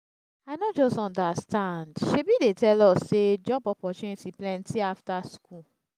i no just understand. shebi dey tell us say job opportunity plenty after school